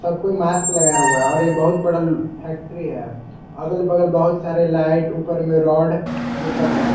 सब कोई मास्क लगाए हुआ है और यह बहुत बड़ा फैक्ट्री है अगल बगल बहुत सारे लाइट ऊपर में रॉड यह सब है।